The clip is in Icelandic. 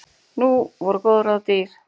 Ný voru góð ráð dýr.